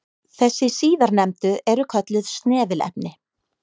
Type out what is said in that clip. Þessi síðarnefndu eru kölluð snefilefni.